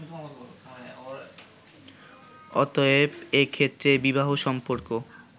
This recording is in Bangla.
অতএব, এ ক্ষেত্রে বিবাহ-সম্পর্ক